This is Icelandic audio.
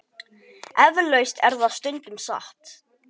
Eflaust er það stundum satt.